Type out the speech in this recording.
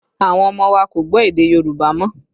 Àwọn ọmọ wa kò gbọ́ èdè Yorùbá mọ́